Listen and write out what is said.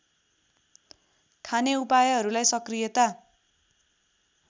खाने उपायहरूलाई सक्रियता